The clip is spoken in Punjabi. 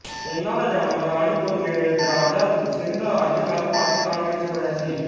ਉਨ੍ਹਾਂ ਦਾ ਜਨਮ ਰਾਣੀਪੁਰ ਨੇੜੇ ਦਰਾਜ਼ਾ ਸਿੰਧ ਅੱਜਕੱਲ ਪਾਕਿਸਤਾਨ ਵਿਚ ਵਿੱਚ ਹੋਇਆ ਸੀ